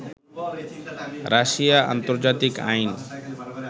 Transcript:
Russia আন্তর্জাতিক আইন